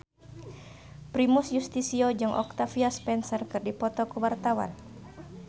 Primus Yustisio jeung Octavia Spencer keur dipoto ku wartawan